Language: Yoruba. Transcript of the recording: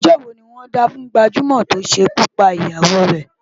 Ẹjọ́ wo ni wọ́n dá fún gbajúmọ̀ tó ṣekú pa ìyàwó rè?